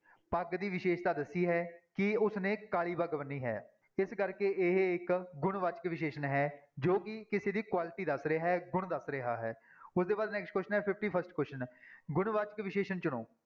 ਪੱਗ ਦੀ ਵਿਸ਼ੇਸ਼ਤਾ ਦੱਸੀ ਹੈ ਕਿ ਉਸਨੇ ਕਾਲੀ ਪੱਗ ਬੰਨ੍ਹੀ ਹੈ, ਇਸ ਕਰਕੇ ਇਹ ਇੱਕ ਗੁਣਵਾਚਕ ਵਿਸ਼ੇਸ਼ਣ ਹੈ ਜੋ ਕਿ ਕਿਸੇ ਦੀ quality ਦੱਸ ਰਿਹਾ ਹੈ, ਗੁਣ ਦੱਸ ਰਿਹਾ ਹੈ, ਉਹਦੇ ਬਾਅਦ next question ਹੈ fifty-first question ਗੁਣਵਾਚਕ ਵਿਸ਼ੇਸ਼ਣ ਚੁਣੋ।